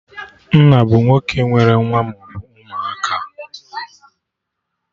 Nna bụ nwoke nwere nwa maọbụ ụmụaka